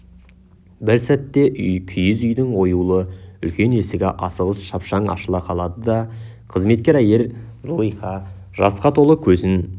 бір сәтте киіз үйдің оюлы үлкен есігі асығыс шапшаң ашыла қалды да қызметкер әйел зылиха жасқа толы көзін